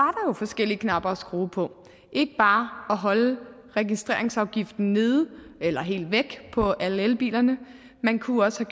forskellige knapper at skrue på ikke bare at holde registreringsafgiften nede eller helt væk på alle elbilerne man kunne også